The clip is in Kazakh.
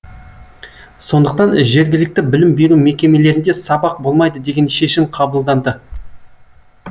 сондықтан жергілікті білім беру мекемелерінде сабақ болмайды деген шешім қабылданды